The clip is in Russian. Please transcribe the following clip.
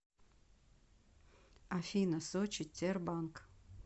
афина сочи тербанк